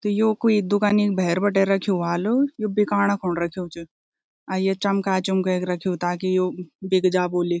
त यो कुई दुकानी क भैर बटै रख्यु वालू यु बिकाणा खुण रख्युं च अर ये चमका चुमके के रख्युं ताकि यु बिक जा बोली।